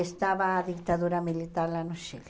Estava a ditadura militar lá no Chile.